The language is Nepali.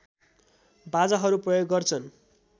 बाजाहरू प्रयोग गर्छन्